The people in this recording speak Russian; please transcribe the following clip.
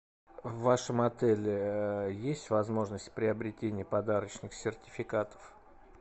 в вашем отеле есть возможность приобретения подарочных сертификатов